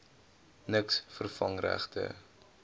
niks vervang regte